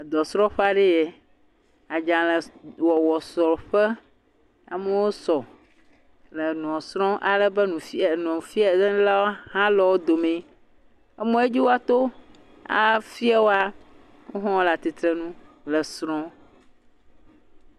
Edɔ srɔƒe aɖe yɛ, adzalẽ wɔwɔ srɔƒe, amowo sɔ, le enua srɔm alebe nufiɛ enufiɛ lawo hã le wodome, amɔ ye dzi wɔato afiewoa wo hã wo le atitrenu le srɔ̃.